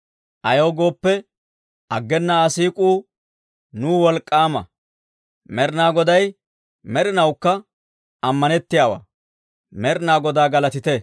Ayaw gooppe, aggena Aa siik'uu nuw wolk'k'aama; Med'inaa Goday med'inawukka ammanettiyaawaa. Med'inaa Godaa galatite!